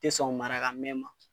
Te sɔn marakamɛn